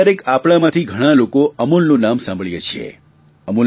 કયારેક કયારેક આપણામાંતી ઘણા લોકો અમૂલનું નામ સાંભળીએ છીએ